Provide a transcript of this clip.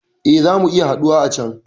Eh, zamu iya haɗuwa a can